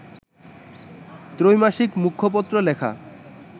ত্রৈমাসিক মুখপত্র লেখা